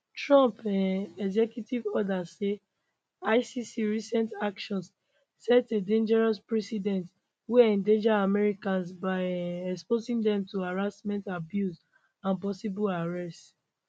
trump um executive order say icc recent actions set a dangerous precedent wey endanger americans by um exposing dem to harassment abuse and possible arrest